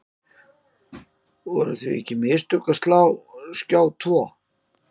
Voru því ekki mistök að slá af Skjá tvo?